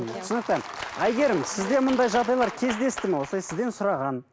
түсінікті әйгерім сізде мұндай жағдайлар кездесті ме осылай сізден сұраған